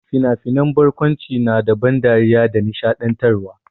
Fina-finan barkwanci na da ban dariya da nishaɗantarwa.